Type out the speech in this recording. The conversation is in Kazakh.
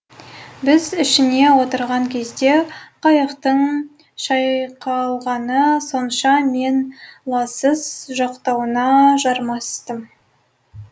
біз ішіне отырған кезде қайықтың шайқалғаны сонша мен лассыз жақтауына жармастым